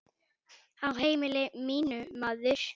Á heimili mínu, maður.